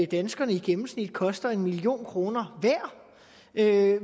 danskerne i gennemsnit koster en million kroner hver og